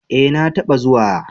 Eh na ta ba zuwa